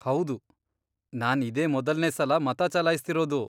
ಹೌದು, ನಾನ್ ಇದೇ ಮೊದಲ್ನೇ ಸಲ ಮತ ಚಲಾಯ್ಸ್ತಿರೋದು.